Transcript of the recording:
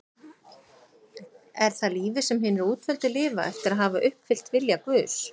Er það lífið sem hinir útvöldu lifa eftir að hafa uppfyllt vilja Guðs?